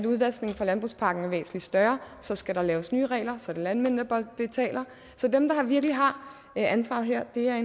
udvaskningen fra landbrugspakken er væsentlig større så skal der laves nye regler og så er det landmændene der betaler dem der virkelig har ansvaret her er